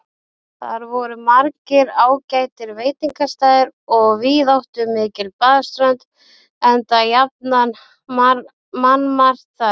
Þar voru margir ágætir veitingastaðir og víðáttumikil baðströnd, enda jafnan mannmargt þar.